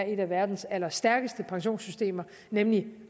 et af verdens allerstærkeste pensionssystemer nemlig